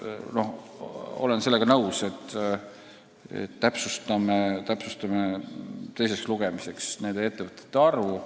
Aga me täpsustame teiseks lugemiseks nende ettevõtete arvu.